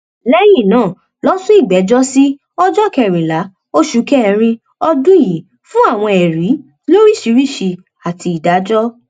lẹyìn náà ló sún ìgbẹjọ sí ọjọ kẹrìnlá oṣù kẹrin ọdún yìí fún àwọn ẹrí lóríṣìíríṣìí àti ìdájọ